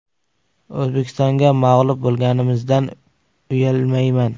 “O‘zbekistonga mag‘lub bo‘lganimizdan uyalmayman.